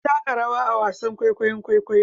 Ana taka rawa a wasan kwaikwayon kwaikwayo